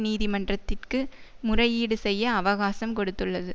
நீதிமன்றத்திற்கு முறையீடு செய்ய அவகாசம் கொடுத்துள்ளது